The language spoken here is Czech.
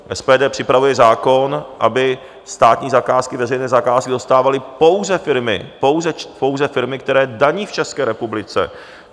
SPD připravuje zákon, aby státní zakázky, veřejné zakázky, dostávaly pouze firmy, pouze firmy, které daní v České republice.